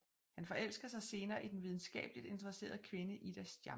Han forelsker sig senere i den videnskabeligt interesserede kvinde Ida Stjamp